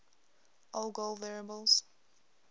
algol variables